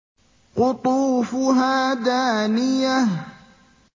قُطُوفُهَا دَانِيَةٌ